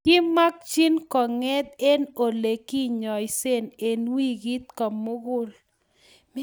kimakchin ko nget eng ole kinyaise eng wikit komugul